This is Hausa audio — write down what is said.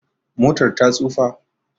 Motar ta tsufa